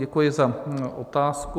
Děkuji za otázku.